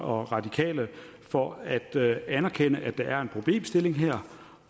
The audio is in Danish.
og radikale for at anerkende at der er en problemstilling her